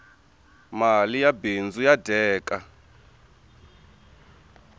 mali ya bindzu ya dyeka